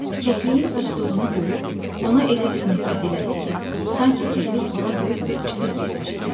Kəkliyin uçduğunu görüb ona elə bir nifrət elədi ki, sanki kəklik ona böyük bir pislik etmişdi.